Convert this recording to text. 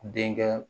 Denkɛ